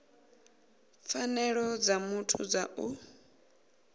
pfanelo dza muthu dza u